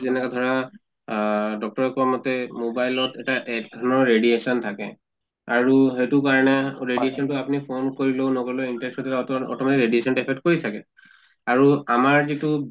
যেনেকা ধৰা আহ doctor য়ে কোৱা মতে mobile ত এটা এক ধৰণৰ radiation থাকে আৰু সেইটো কাৰণে radiation তো আপুনি phone কৰিলেও নগলেও automatic radiation তো affect কৰি থাকে। আৰু আমাৰ যিটো